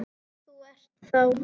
Þú ert þá.?